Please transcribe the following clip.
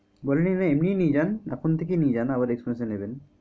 বলেনি যে এমনি ই নিয়ে যান এখন থেকেই নিয়ে যান আবার x mass এ নেবেন।